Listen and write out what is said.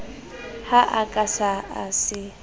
ha a ka a se